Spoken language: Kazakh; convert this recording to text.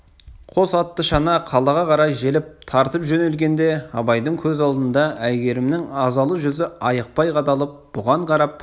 қос атты шана қалаға қарай желіп тартып жөнелгенде абайдың көз алдында әйгерімнің азалы жүзі айықпай қадалып бұған қарап